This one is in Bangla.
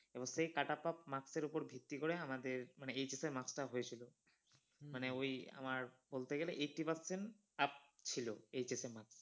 এবং সেই cutup marks এর ওপর ভিত্তি করে আমাদের মানে HS এর marks টা হয়ে ছিল। মানে ওই আমার বলতে গেলে eighty percent up ছিলো HS এর marks